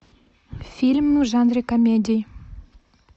фильм в жанре комедии